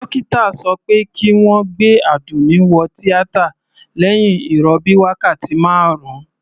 Dókítà sọ pé kí wọ́n gbé Àdùnní wo tíátà lẹ́hìn ìrọbí wákàtí marun.